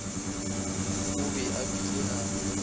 o be a bile a